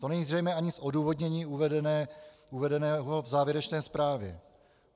To není zřejmé ani z odůvodnění uvedeného v závěrečné zprávě.